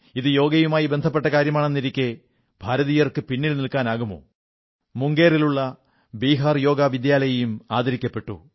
ഇത് യോഗയുമായി ബന്ധപ്പെട്ട കാര്യമാണെന്നിരിക്കെ ഭാരതീയർക്ക് പിന്നിൽ നിൽക്കാനാകുമോ മുംഗേറിലുള്ള ബീഹാർ യോഗ വിദ്യാലയയും ആദരിക്കപ്പെട്ടു